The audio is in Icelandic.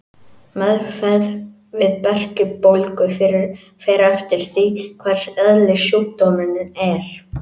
Meðferð við berkjubólgu fer eftir því hvers eðlis sjúkdómurinn er.